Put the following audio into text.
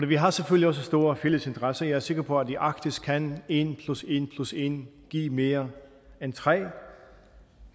vi har selvfølgelig også store fælles interesser jeg er sikker på at i arktis kan en plus en plus en give mere end tre